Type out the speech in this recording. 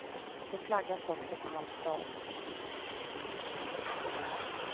Det flaggas också på halv stång.